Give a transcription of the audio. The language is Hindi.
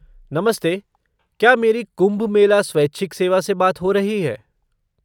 नमस्ते, क्या मेरी कुम्भ मेला स्वैच्छिक सेवा से बात हो रही है?